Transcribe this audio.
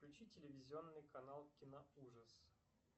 включи телевизионный канал киноужас